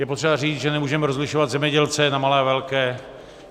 Je potřeba říct, že nemůžeme rozlišovat zemědělce na malé a velké.